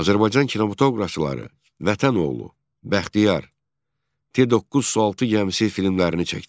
Azərbaycan kinematoqrafçıları Vətənoğlu, Bəxtiyar, T-9, Sualtı gəmisi filmlərini çəkdilər.